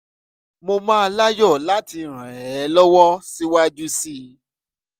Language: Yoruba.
mo máa láyọ̀ láti ràn ẹ́ lọ́wọ́ síwájú sí i